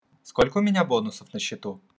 сколько у меня бонусов на счету